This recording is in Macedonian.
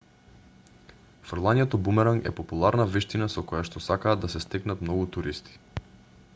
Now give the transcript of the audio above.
фрлањето бумеранг е популарна вештина со којашто сакаат да се стекнат многу туристи